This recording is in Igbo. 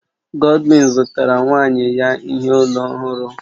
Godwin zụtara nwaanyị ya ihe olu ọhụrụ